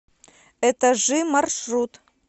этажи маршрут